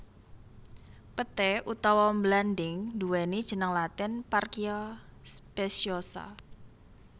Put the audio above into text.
Peté utawa mlanding nduwéni jeneng latin Parkia speciosa